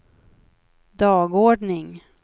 dagordning